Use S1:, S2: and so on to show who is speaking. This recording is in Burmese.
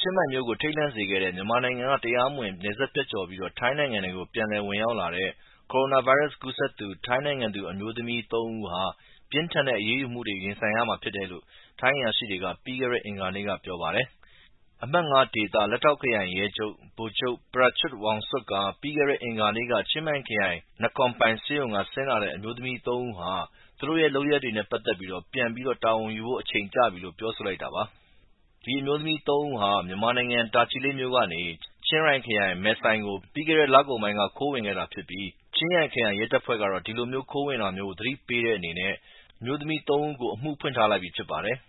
S1: ချင်းမိုင်မြို့ကို ထိတ်လန့်စေခဲ့တဲ့ မြန်မာနိုင်ငံကနေ တရားမဝင်နယ်စပ်ဖြတ်ကျော်ပြီး ထိုင်းနိုင်ငံထဲကို ပြန်လည်ဝင်ရောက်လာတဲ့ ကိုရိုနာဗိုင်းရပ်စ်ကူးစပ်သူ ထိုင်းနိုင်ငံသူ အမျိုးသမီးသုံးဦးဟာ ပြင်းထန်တဲ့ အရေးယူမှုတွေကို ရင်ဆိုင်ရမှာဖြစ်တယ်လို့ထိုင်းအရာရှိတွေက ပြီးခဲ့တဲ့ အင်္ဂါနေ့က ပြောပါတယ်။ အမှတ် (၅) ဒေသ လက်ထောက်ခရိုင်ရဲချုပ် ဗိုလ်ချုပ် Prachuap Wongsuk က ပြီးခဲ့တဲ့အင်္ဂါနေ့က ချင်းမိုင်ခရိုင် Nakornping ဆေးရုံကဆင်းလာတဲ့ အမျိုးသမီးသုံးဦးဟာ သူတို့ရဲ့လုပ်ရပ်တွေနဲ့ပက်သက်ပြီး ပြန်ပြီးတာဝန်ယူဖို့အချိန်ကျပြီလို့ ပြောဆိုလိုက်တာပါ။ ဒီအမျိုးသမီးသုံးဦးဟာ မြန်မာနိင်ငံ၊ တာချီလိတ်မြို့ကနေ ချင်းရိုင်ခရိုင် မယ်ဆိုင်ကို ပြီးခဲ့တဲ့ လကုန်ပိုင်းက ခိုးဝင်ခဲ့တာဖြစ်ပြီး ချင်းရိုင်ခရိုင်ရဲတပ်ဖွဲ့ကတော့ ဒီလိုခိုးဝင်တာမျိုး သတိပေးတဲ့အနေနဲ့ အမှုဖွင့်ထားလိုက်ပြီဖြစ်ပါတယ်။